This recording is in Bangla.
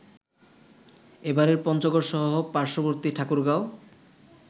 এপারের পঞ্চগড়সহ পার্শ্ববর্তী ঠাকুরগাঁও